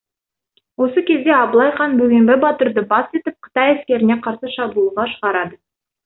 осы кезде абылай хан бөгембай батырды бас етіп қытай әскеріне қарсы шабуылға шығады